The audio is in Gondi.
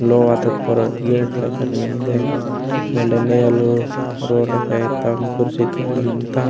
लोहा ताग परक गेट मेन्दे वेंड नेलु रोंडा पोईंतान कुर्सी पॉइंता।